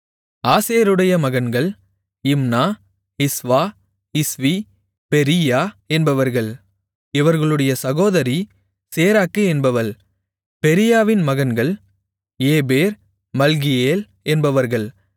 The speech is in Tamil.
ஆசேருடைய மகன்கள் இம்னா இஸ்வா இஸ்வி பெரீயா என்பவர்கள் இவர்களுடைய சகோதரி சேராக்கு என்பவள் பெரீயாவின் மகன்கள் ஏபேர் மல்கியேல் என்பவர்கள்